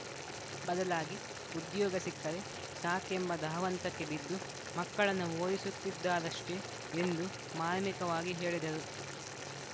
ಬದಲಾಗಿ ಉದ್ಯೋಗ ಸಿಕ್ಕರೆ ಸಾಕೆಂಬ ಧಾವಂತಕ್ಕೆ ಬಿದ್ದು ಮಕ್ಕಳನ್ನ ಓದಿಸುತ್ತಿದ್ದಾರಷ್ಟೇ ಎಂದು ಮಾರ್ಮಿಕವಾಗಿ ಹೇಳಿದರು